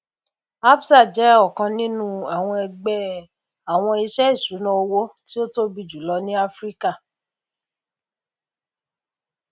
ncaa ń kìlọ fún àwọn awakọ nípa ojúọjọ um tó le kan ọkọ òfúrufú